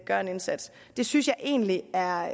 gøre en indsats det synes jeg egentlig er